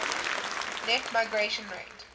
net migration rate